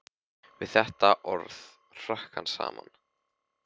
Við þetta orð hrökk hann saman.